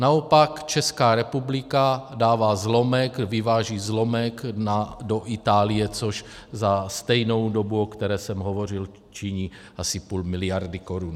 Naopak Česká republika dává zlomek, vyváží zlomek do Itálie, což za stejnou dobu, o které jsem hovořil, činí asi půl miliardy korun.